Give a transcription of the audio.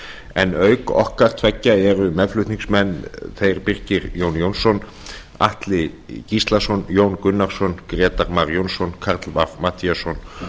en auk okkar tveggja eru meðflutningsmenn þeir birkir jón jónsson atli gíslason jón gunnarsson grétar mar jónsson karl fimmti matthíasson